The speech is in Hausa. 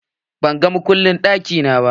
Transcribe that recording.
Ban ga makullin ɗaki na ba.